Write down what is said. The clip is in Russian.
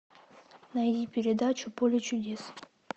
найди передачу поле чудес